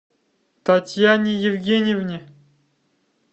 татьяне евгеньевне